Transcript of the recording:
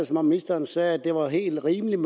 som om ministeren sagde at det var helt rimeligt